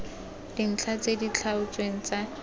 dintlha tse di tlhaotsweng tsa